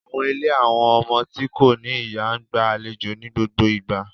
Àwọn ìlé àwọn ọmọ ti ko ni iya n gba àléjo ni gbogbo igba